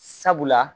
Sabula